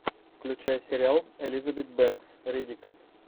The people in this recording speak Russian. включай сериал элизабет бэнкс риддик